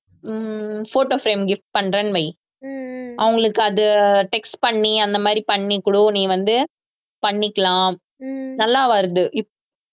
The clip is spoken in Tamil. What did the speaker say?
ஹம் photo frame gift பண்றேன்னு வை அவங்களுக்கு அதை text பண்ணி அந்த மாதிரி பண்ணி கொடு நீ வந்து பண்ணிக்கலாம் நல்லா வருது இப்~